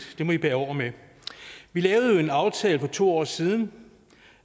det må i bære over med vi lavede jo en aftale for to år siden